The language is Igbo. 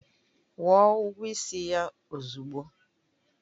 Kwuo ụgwọ ịsị ya ozugbo!